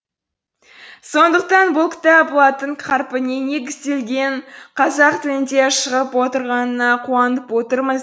сондықтан бұл кітап латын қарпіне негізделген қазақ тілінде шығып отырғанына қуанып отырмыз